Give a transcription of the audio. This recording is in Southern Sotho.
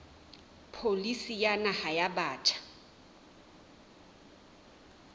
pholisi ya naha ya batjha